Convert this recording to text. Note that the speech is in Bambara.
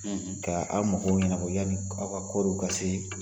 ka a magow ɲɛnabɔ yani aw ka kɔɔriw ka se.